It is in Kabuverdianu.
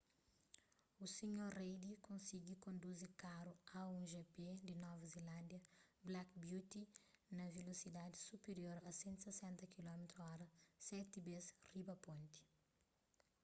o sr. reid konsigi konduzi karu a1gp di nova zelándia black beauty na velosidadis supirior a 160km/h seti bês riba ponti